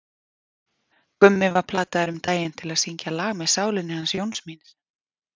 Gummi var plataður um daginn til að syngja lag með Sálinni hans Jóns míns.